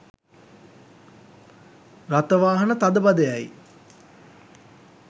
රථවාහන තදබදයයි